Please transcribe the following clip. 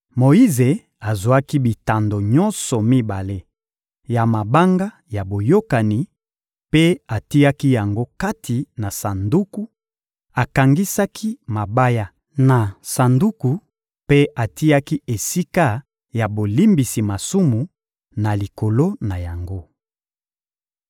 Moyize azwaki bitando nyonso mibale ya mabanga ya Boyokani mpe atiaki yango kati na Sanduku, akangisaki mabaya na Sanduku mpe atiaki esika ya bolimbisi masumu na likolo na yango.